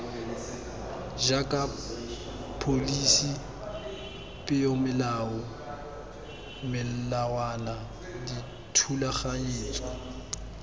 jaaka pholisi peomolao melawana dithulaganyetso